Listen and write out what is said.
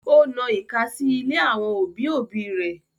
Ó na ìka sí ilé àwọn òbí òbí rẹ̀